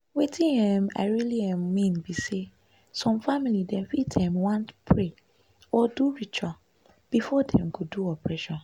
wetin um i realy um mean be say some family dem fit um want pray or do ritual before dem go do operation